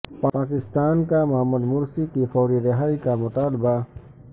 پاکستان کا Mohamed Morsi کی فوری رہائی کا مطالبہ